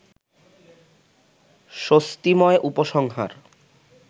স্বস্তিময় উপসংহার